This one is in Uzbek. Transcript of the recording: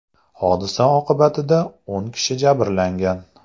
Hodisa oqibatida o‘n kishi jabrlangan.